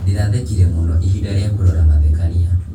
Ndĩrathekire mũno ihinda rĩa kũrora mathekania.